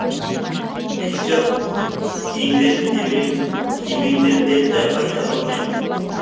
хиджаб киіңдер демеймін кимеңдер деп те айта алмаймын